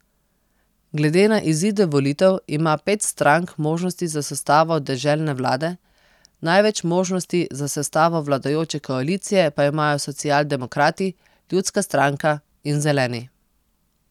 Glede na izide volitev ima pet strank možnosti za sestavo deželne vlade, največ možnosti za sestavo vladajoče koalicije pa imajo socialdemokrati, Ljudska stranka in Zeleni.